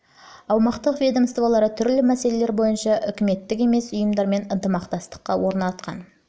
аумақтық ведомствалары түрлі мәселелер бойынша үкіметтік емес ұйымдармен ынтымақтастық орнатқан